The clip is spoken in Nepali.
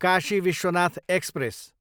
काशी विश्वनाथ एक्सप्रेस